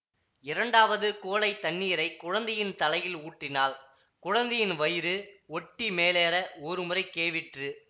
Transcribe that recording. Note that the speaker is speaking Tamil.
இரண்டாவது குவளைத் தண்ணீரை குழந்தையின் தலையில் ஊற்றினாள் குழந்தையின் வயிறு ஒட்டி மேலேற ஒருமுறை கேவிற்று